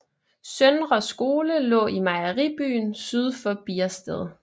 Søndre Skole lå i Mejeribyen syd for Biersted